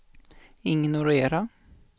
ignorera